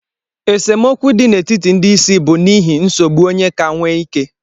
Esemokwu dị n'etiti ndị isi bụ n'ihi nsogbu onye ka nwee ike